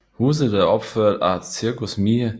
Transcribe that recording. Huset er opført af Cirkus Miehe